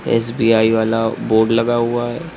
SBI वाला board लगा हुआ है।